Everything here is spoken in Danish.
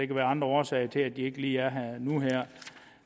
kan være andre årsager til at de ikke lige er her nu